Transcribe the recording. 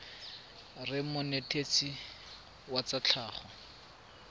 reng monetetshi wa tsa tlhago